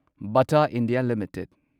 Bata India limited